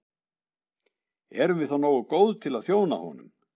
Erum við þá nógu góð til að þjóna honum?